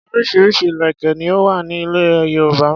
Orísirísi ìlèkè ni ó wà ní ilẹ̀ Yorùbá.